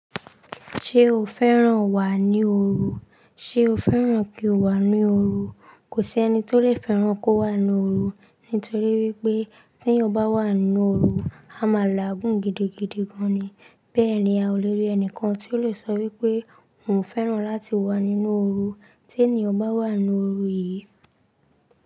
Ṣé o fẹ́ràn wà ní òru? Sé o fẹ́ràn kí o wà n n'òru? Kò sí ẹni tó lè fẹ́ràn kó wà n'òru. Nítorí wípé tí ẹeyan bá wà nínú òru, a máa laagùn gidigidi gan ni. Bẹ́ẹ̀ ni a ò lè rí ẹnìkan tí ó lè sọ wípé òun fẹ́ràn láti wà nínú òru. Tí ẹniyan bá wà nínú òru yìí.